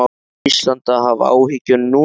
Á Ísland að hafa áhyggjur núna?